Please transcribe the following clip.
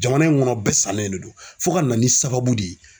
Jamana in kɔnɔ bɛɛ sannen de don fo ka na ni sababu de ye.